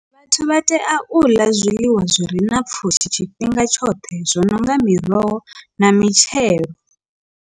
Vhathu vha tea u ḽa zwiḽiwa zwi re na pfhushi tshifhinga tshoṱhe zwo no nga miroho na mitshelo.